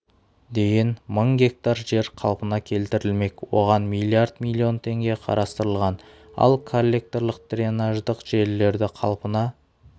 дейін мың гектар жер қалпына келтірілмек оған млрд млн теңге қарастырылған ал коллекторлық-дренаждық желілерді қалпына